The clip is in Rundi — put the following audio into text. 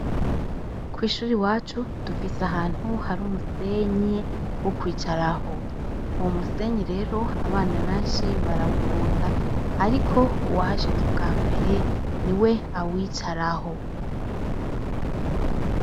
Kw ishuri wacu dufise ahantu hari umusenyi wo kwicaraho. Uwo musenyi rero abana benshi barawukunda ariko uwahashitse ubwa mbere ni we awicaraho.